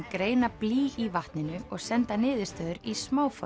greina blý í vatninu og senda niðurstöður í